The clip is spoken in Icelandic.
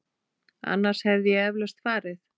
Annars hefði ég eflaust farið.